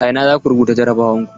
A ina zaku rubuta jarabawar ku?